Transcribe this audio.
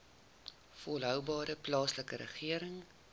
volhoubare plaaslike regering